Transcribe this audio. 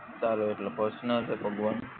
તારો એટલે પર્સનલ હે ભગવાન